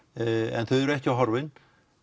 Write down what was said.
en þau eru ekki horfin